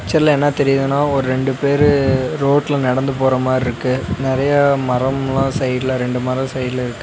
இந்த பிச்சர்ல என்னா தெரியிதுனா ஒர் ரெண்டு பேரு ரோட்ல நடந்து போற மார்ருக்கு நெறைய மரம்லா சைட்டுல ரெண்டு மரம் சைட்டுல இருக்கு.